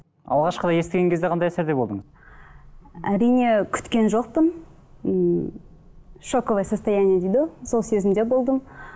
алғашқыда естіген кезде қандай әсерде болдың әрине күткен жоқпын ммм шоковое состояние дейді ғой сол сезімде болдым